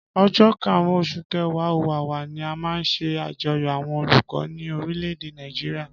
Ọjọ karun osun kẹwa/ọwawa, ni a má nṣe ajoyọ awọn olukọ ni orileede nigeria